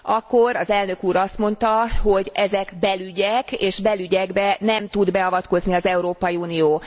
Akkor az elnök úr azt mondta, hogy ezek belügyek, és belügyekbe nem tud beavatkozni az Európai Unió.